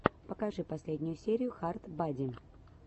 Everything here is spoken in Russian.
покажи последнюю серию хард бади